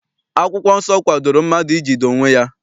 Akwụkwọ nsọ kwadoro mmadụ ijide onwe ya.